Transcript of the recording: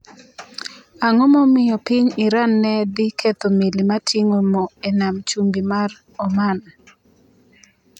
Ang’o momiyo piny Iran ne dhi ketho meli ma ting’o mo e nam chumbi mar Oman?